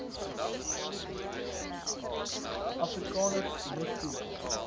afrikaners moes sien